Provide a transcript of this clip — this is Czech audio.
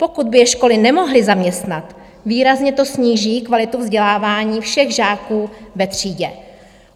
Pokud by je školy nemohly zaměstnat, výrazně to sníží kvalitu vzdělávání všech žáků ve třídě.